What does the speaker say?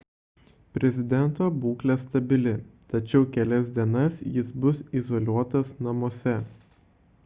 prezidento būklė stabili tačiau kelias dienas jis bus izoliuotas namuose